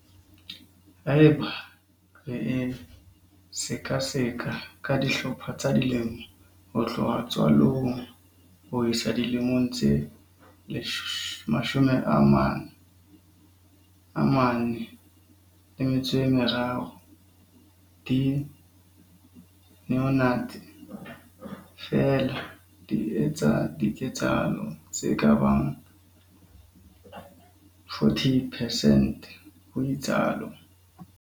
Haeba re e sekaseka ka dihlopha tsa dilemo ho tloha tswalong ho isa dilemong tse 93, di-neonates feela di etsa diketsahalo tse ka bang 40 percent, ho itsalo.